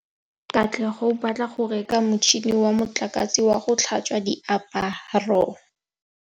Katlego o batla go reka motšhine wa motlakase wa go tlhatswa diaparo.